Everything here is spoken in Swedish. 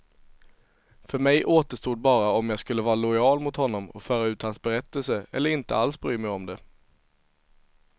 För mig återstod bara om jag skulle vara lojal mot honom och föra ut hans berättelse, eller inte alls bry mig om det.